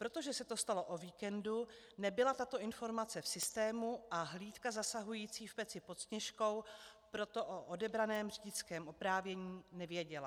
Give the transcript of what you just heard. Protože se to stalo o víkendu, nebyla tato informace v systému a hlídka zasahující v Peci pod Sněžkou proto o odebraném řidičském oprávnění nevěděla.